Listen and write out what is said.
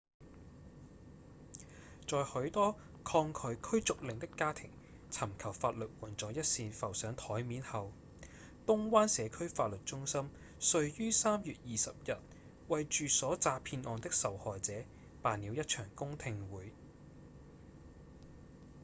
在許多抗拒驅逐令的家庭尋求法律援助一事浮上檯面後東灣社區法律中心遂於3月20日為住所詐騙案的受害者辦了一場公聽會